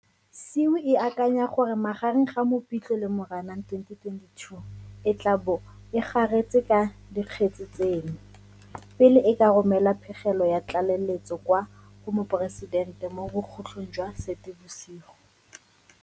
SIU e akanya gore magareng ga Mopitlwe le Moranang 2022 e tla bo e garetse ka dikgetse tseno, pele e ka romela pegelo ya tlaleletso kwa go Moporesidente mo bokhutlhong jwa Seetebosigo.